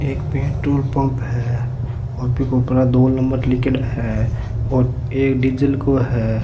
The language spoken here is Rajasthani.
एक पेट्रोल पम्प है और ऊके ऊपर दो नंबर लिखेड़ा है और एक डीजल को है।